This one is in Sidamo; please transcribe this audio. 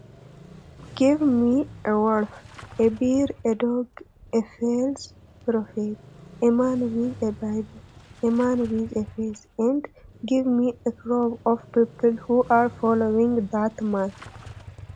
Give me a wolf, a bear, a dog, a false prophet, a man with a Bible, a man with a face, and give me a crowd of people who are following that man.